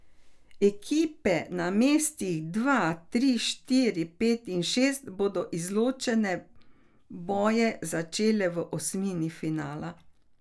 Ekipe na mestih dva, tri, štiri, pet in šest bodo izločilne boje začele v osmini finala.